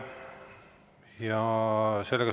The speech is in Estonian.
Aitäh!